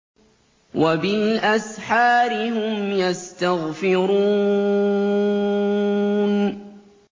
وَبِالْأَسْحَارِ هُمْ يَسْتَغْفِرُونَ